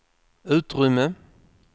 utrymme